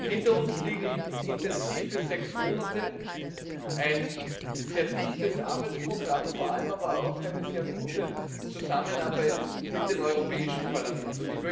Hinter uns liegen intensive sechs Monate, ein sehr dichtes Arbeitsprogramm, vor allem aber auch eine sehr gute Zusammenarbeit mit dem Europäischen Parlament.